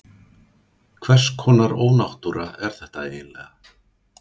Hvers konar ónáttúra er þetta eiginlega?